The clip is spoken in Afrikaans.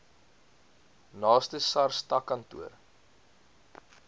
naaste sars takkantoor